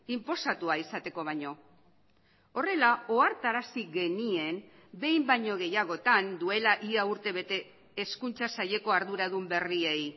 inposatua izateko baino horrela ohartarazi genien behin baino gehiagotan duela ia urtebete hezkuntza saileko arduradun berriei